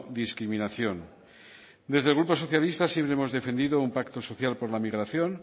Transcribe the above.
discriminación desde el grupo socialista siempre hemos defendido un pacto social por la migración